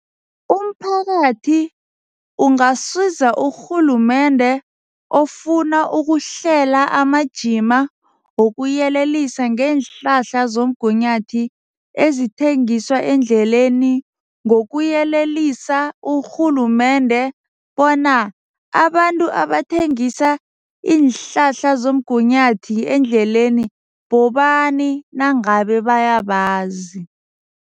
Umphakathi ungasiza urhulumende ofuna ukuhlela amajima wokuyelelisa ngeenhlahla zomgunyathi ezithengiswa endleleni ngokuyelelisa urhulumende bona abantu abathengisa iinhlahla zomgunyathi endleleni bobani nangabe bayabazi.